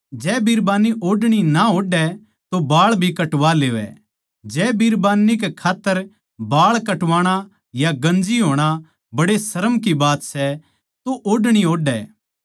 जै बिरबान्नी ओढ़णी ना ओढ़ै तो बाळ भी कटवा लेवै जै बिरबान्नी कै खात्तर बाळ कटवाणा या गन्जी होणा बड़े शर्म की बात सै तो ओढ़णी ओढ़ै